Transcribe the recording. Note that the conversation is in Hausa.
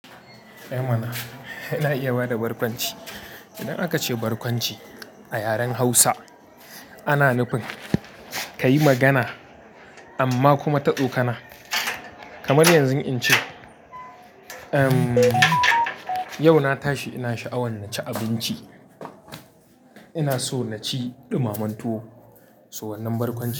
Eh mana, ina iya bada barkwanci. Idan aka ce barkwanci a yaren Hausa, ana nufin ka yi magana amma kuma ta tsokana. Kamar yanzu in ce, "Yau na tashi ina sha'awan na ci abinci. Ina so na ci ɗumamen tuwo." To wannan barkwanci ne.